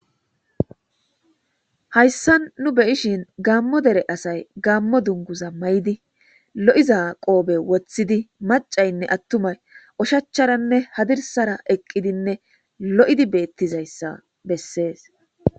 Hayssan nu beyishin gaammo dere asay gaammo dunguza ma'idi lo'iza qoobe woththidi macaynne attumay ushacharanne hadirsara eqqidinne lo'idi beettizayssa bessees